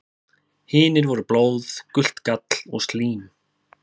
Hinir voru blóð, gult gall og slím.